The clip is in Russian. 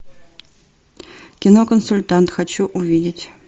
кино консультант хочу увидеть